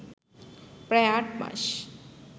প্রায় আটমাস